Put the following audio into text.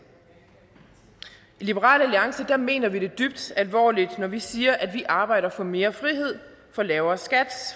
i liberal alliance mener vi det dybt alvorligt når vi siger at vi arbejder for mere frihed for lavere skat